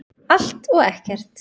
Allt og ekkert